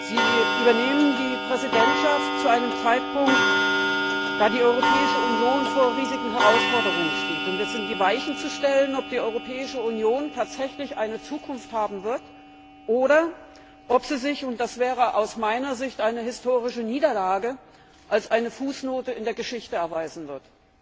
Sie übernehmen die Präsidentschaft zu einem Zeitpunkt, da die Europäische Union vor riesigen Herausforderungen steht Es sind die Weichen zu stellen, ob die Europäische Union tatsächlich eine Zukunft haben wird, oder ob sie sich, und das wäre aus meiner Sicht eine historische Niederlage, als eine Fußnote in der Geschichte erweisen wird.